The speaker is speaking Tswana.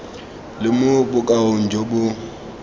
le mo bokaong jo bo